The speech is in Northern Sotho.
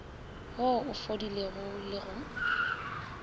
wo o fodilego le go